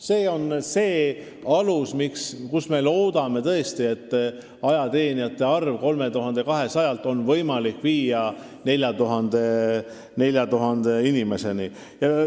See on see alus, kus me loodame tõesti, et ajateenijate arv 3200-lt on võimalik viia 4000 inimeseni.